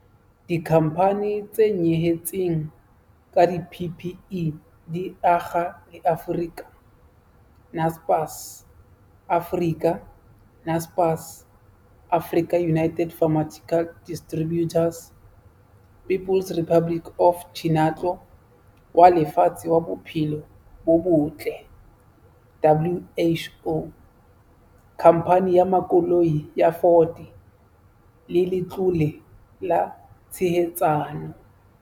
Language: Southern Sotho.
Dikhamphane tse nyehetseng ka di-PPE di akga le Africa, Naspers, Africa, Naspers, AfricaUnited Pharmaceutical Distributors, People's Republic of Chinatlo wa Lefatshe wa Bophelo bo Botle, WHO, Khamphane ya Makoloi ya Ford le Letlole la Tshehetsano.